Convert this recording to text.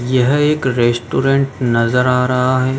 यह एक रेस्टोरेंट नजर आ रहा है।